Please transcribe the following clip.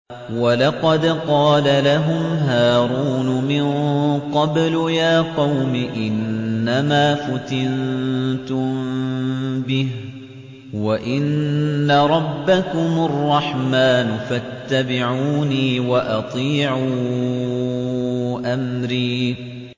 وَلَقَدْ قَالَ لَهُمْ هَارُونُ مِن قَبْلُ يَا قَوْمِ إِنَّمَا فُتِنتُم بِهِ ۖ وَإِنَّ رَبَّكُمُ الرَّحْمَٰنُ فَاتَّبِعُونِي وَأَطِيعُوا أَمْرِي